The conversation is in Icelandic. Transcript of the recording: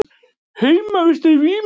Heimsmeistarar í vímu